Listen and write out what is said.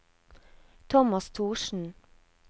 Tomas Thorsen